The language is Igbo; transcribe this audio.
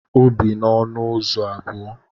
O bi n'ọnụ ụzọ abụọ.